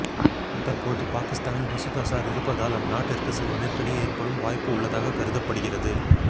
தற்போது பாகிஸ்தானில் மசூத் அசார் இருப்பதால் அந்நாட்டிற்கு சில நெருக்கடி ஏற்படும் வாய்ப்பு உள்ளதாக கருதப்படுகிறது